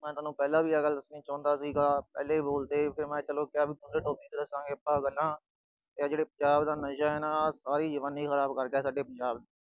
ਮੈਂ ਤੁਹਾਨੂੰ ਪਹਿਲਾ ਵੀ ਆਹ ਗੱਲ ਦੱਸਣਾ ਚਾਹੁੰਦਾ ਸੀਗਾ, ਪਹਿਲੇ ਬੋਲ ਤੇ, ਫਿਰ ਮੈਂ ਕਿਹਾ ਚਲੋ topic ਦਸਾਂਗੇ ਆਪਾ ਪਹਿਲਾ। ਆ ਜਿਹੜਾ ਨਸ਼ਾ ਆ ਨਾ, ਆ ਸਾਰੀ ਜਵਾਨੀ ਖਰਾਬ ਕਰ ਗਿਆ ਸਾਡੇ ਪੰਜਾਬ ਦੀ।